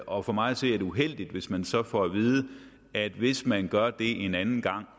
og for mig at se er det uheldigt hvis man så får at vide at hvis man gør det en anden gang